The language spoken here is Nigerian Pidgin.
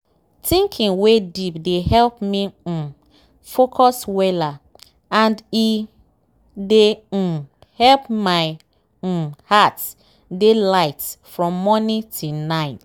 thinking wey deep dey help me um focus weller and e dey um help my um heart dey light from morning till night.